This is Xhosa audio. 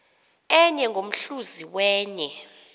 enye ngomhluzi wenye